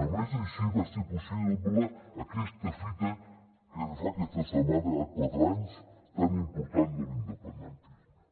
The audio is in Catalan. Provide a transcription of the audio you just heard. només així va ser possible aquesta fita que fa aquesta setmana quatre anys tan important de l’independentisme